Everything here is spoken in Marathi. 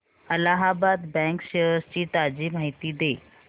अलाहाबाद बँक शेअर्स ची ताजी माहिती दे